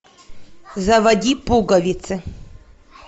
заводи пуговицы